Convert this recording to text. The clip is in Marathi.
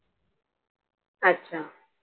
अच्छा.